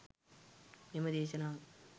මෙම දේශනාව